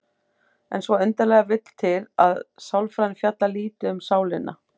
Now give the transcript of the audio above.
En svo undarlega vill til að sálfræðin fjallar lítið um sálina.